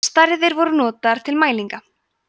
stærðir voru notaðar til mælinga